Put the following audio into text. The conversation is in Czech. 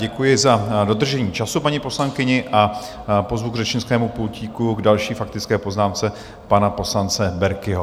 Děkuji za dodržení času paní poslankyni a pozvu k řečnickému pultíku k další faktické poznámce pana poslance Berkiho.